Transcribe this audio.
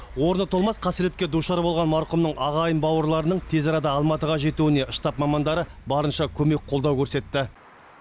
орны толмас қасіретке душар болған марқұмның ағайын бауырларының тез арада алматыға жетуіне штаб мамандары барынша көмек қолдау көрсетті